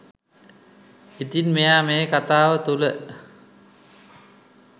ඉතින් මෙයා මේ කතාව තුළ